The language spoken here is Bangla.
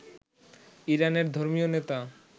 ইরানের ধর্মীয় নেতা